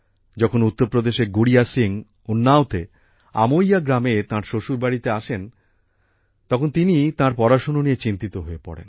যখন উত্তর প্রদেশের গুড়িয়া সিং উন্নাওতে আমোইয়া গ্রামে তাঁর শ্বশুর বাড়িতে আসেন তখন তিনি তাঁর পড়াশোনা নিয়ে চিন্তিত হয়ে পড়েন